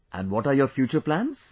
And what are your future plans